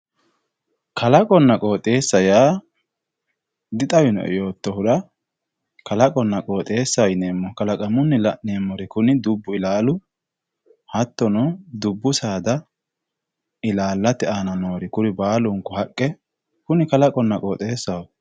Kalaqona qoxesa ya di xawinoe yotohura kaloqonna qoxesahi yinemohu jakaqamunni lanemohu kuni dubbu ilalu hatino dubbu saada ilalte ana nori kuri balanku haqqe kalaqonna qoxesaho